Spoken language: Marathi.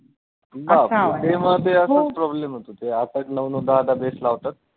त्यामुळं ते असाचं problem होतो ते आठ आठ नऊ नऊ दहा दहा base लावतात.